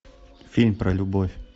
фильм про любовь